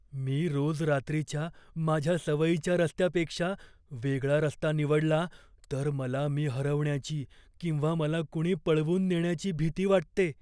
मी रोज रात्रीच्या माझ्या सवयीच्या रस्त्यापेक्षा वेगळा रस्ता निवडला तर मला मी हरवण्याची किंवा मला कुणी पळवून नेण्याची भीती वाटते.